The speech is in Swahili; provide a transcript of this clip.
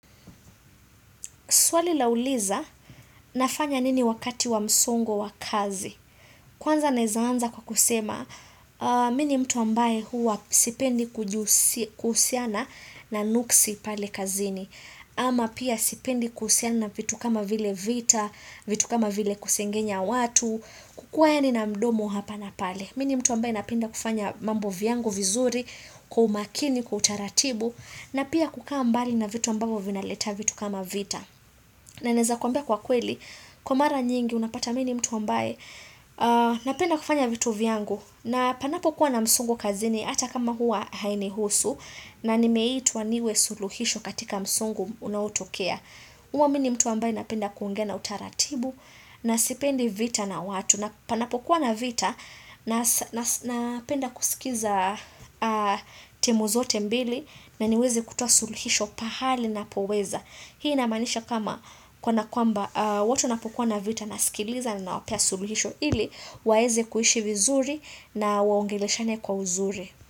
Swali la uliza nafanya nini wakati wa msongo wa kazi. Kwanza naeza anza kwa kusema, mini mtu ambaye huwa sipendi kuhusiana na nuksi pale kazini. Ama pia sipendi kuhusiana na vitu kama vile vita, vitu kama vile kusengenya watu, kukuwa yaani na mdomo hapa na pale. Mini mtu ambaye napenda kufanya mambo vyangu vizuri, kwa umakini, kwa utaratibu, na pia kukaa mbali na vitu ambavyo vinaleta vitu kama vita. Na naeza kuambia kwa kweli, kwa mara nyingi unapata mini mtu ambaye, napenda kufanya vitu vyangu, na panapo kuwa na msongo kazini, ata kama huwa hainihusu, na nimeitwa niwe suluhisho katika msongo unaotokea. Huwa mini mtu ambaye napenda kuongea na utaratibu na sipendi vita na watu. Panapokuwa na vita napenda kusikiza timu zote mbili na niweze kutoa suluhisho pahali ninapoweza. Hii inamaanisha kama kwa nakwamba watu wanapokuwa na vita nasikiliza na nawapea suluhisho. Ili waezei kuishi vizuri na waongeleshane kwa uzuri.